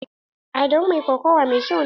Adamu mai kokawa mai kyau ne.